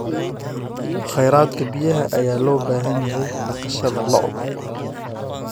Kheyraadka biyaha ayaa loo baahan yahay dhaqashada lo'da.